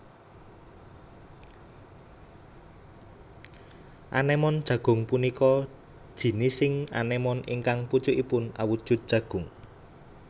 Anémon jagung punika jinising anémon ingkang pucukipun awujud jagung